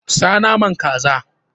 Sa naman kaza!